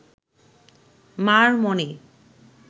মার মনে